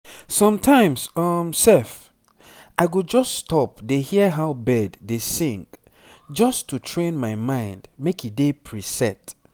sometimes um sef i go just stop dey hear how bird dey sing just to train my mind make e dey preset